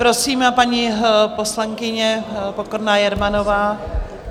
Prosím, paní poslankyně Pokorná Jermanová.